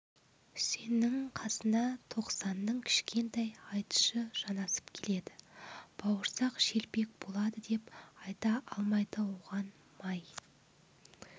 үсеннің қасына тоқсанның кішкентай айтышы жанасып келеді бауырсақ шелпек болады деп айта алмайды оған май